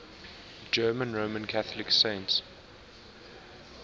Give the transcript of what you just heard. german roman catholic saints